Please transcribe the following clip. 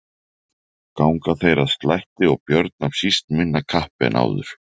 Ganga þeir að slætti og Björn af síst minna kappi en áður.